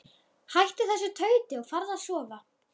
Hættu þessu tauti og farðu að sofa.